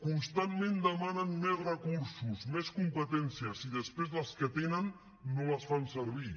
constantment demanen més recursos més competències i després les que tenen no les fan servir